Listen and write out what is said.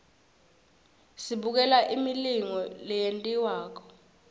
sibukela imilingo leyentiwakalo